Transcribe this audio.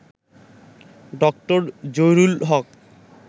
ড. জহিরুল হক